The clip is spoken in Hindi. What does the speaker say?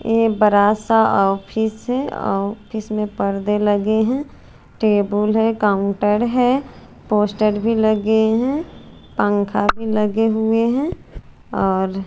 ए बरा सा ऑफिस है ऑफिस में पर्दे लगे है टेबुल हैं काउंटर है पोस्टर भी लगे है पंखा भी लगे हुए है और--